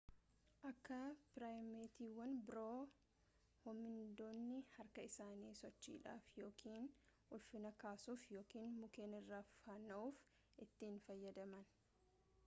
akka piraaymeetiiwwan biroo hoomiiniidonni harka isaanii sochidhaaf yookiin ulfinna kaasuuf yookiin mukkeen irra fanaa'uuf itti hin fayyadaman